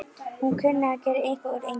Hún kunni að gera eitthvað úr engu.